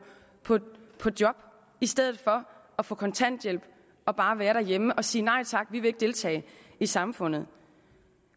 på job i stedet for at få kontanthjælp og bare være derhjemme og sige nej tak vi vil ikke deltage i samfundet